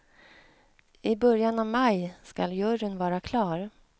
I början av maj skall juryn vara klar.